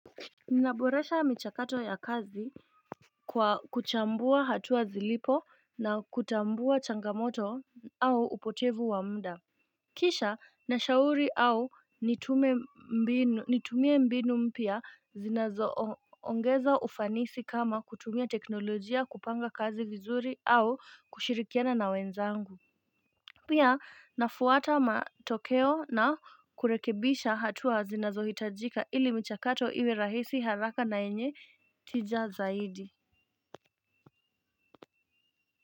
Ninaboresha michakato ya kazi kwa kuchambua hatua zilipo na kutambua changamoto au upotevu wa muda Kisha na shauri au nitumie mbinu mpya zinazo ongeza ufanisi kama kutumia teknolojia kupanga kazi vizuri au kushirikiana na wenzangu Pia nafuata matokeo na kurekebisha hatua zinazohitajika ili michakato iwe rahisi haraka na yenye tija zaidi.